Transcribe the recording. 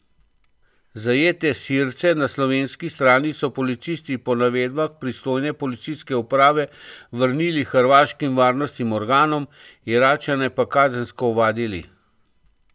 Zajete Sirce na slovenski strani so policisti po navedbah pristojne policijske uprave vrnili hrvaškim varnostnim organom, Iračane pa kazensko ovadili.